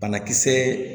Banakisɛ